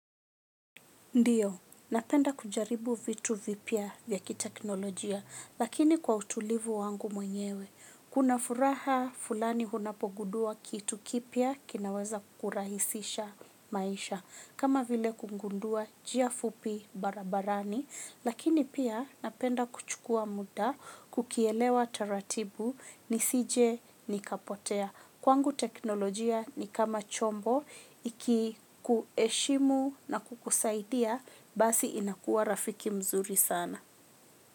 Ndio, napenda kujaribu vitu vipya vya kiteknolojia, lakini kwa utulivu wangu mwenyewe. Kuna furaha fulani unapo gundua kitu kipya kinaweza kurahisisha maisha. Kama vile kungundua njia fupi barabarani, lakini pia napenda kuchukua muda, kukielewa taratibu, nisije nikapotea. Kwangu teknolojia ni kama chombo, iki kuheshimu na kukusaidia, basi inakuwa rafiki mzuri sana.